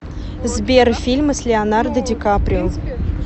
сбер фильмы с леонардо ди каприо